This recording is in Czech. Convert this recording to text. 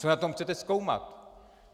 Co na tom chcete zkoumat?